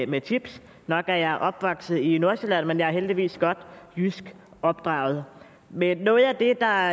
med chips nok er jeg opvokset i nordsjælland men jeg er heldigvis godt jysk opdraget men noget af det der